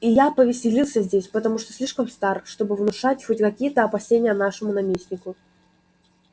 и я повеселился здесь потому что слишком стар чтобы внушать хоть какие-то опасения нашему наместнику